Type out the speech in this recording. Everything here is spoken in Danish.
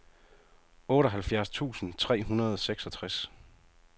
otteoghalvfjerds tusind tre hundrede og seksogtres